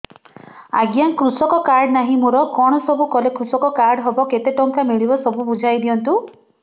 ଆଜ୍ଞା କୃଷକ କାର୍ଡ ନାହିଁ ମୋର କଣ ସବୁ କଲେ କୃଷକ କାର୍ଡ ହବ କେତେ ଟଙ୍କା ମିଳିବ ସବୁ ବୁଝାଇଦିଅନ୍ତୁ